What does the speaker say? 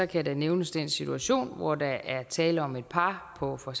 kan der nævnes den situation hvor der er tale om et par på for